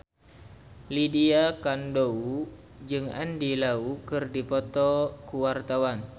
Lydia Kandou jeung Andy Lau keur dipoto ku wartawan